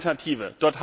keine Alternative